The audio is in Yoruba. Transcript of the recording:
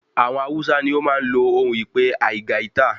Àwọn Hausa ní o máa n lo ohun ìpe aigaita